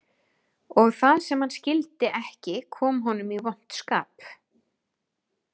Og það sem hann skildi ekki kom honum í vont skap